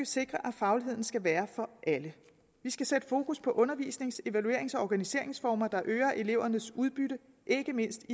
sikre at fagligheden skal være for alle vi skal sætte fokus på undervisnings evaluerings og organiseringsformer der øger elevernes udbytte ikke mindst